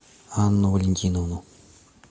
анну валентиновну